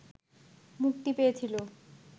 মুক্তি পেয়েছিল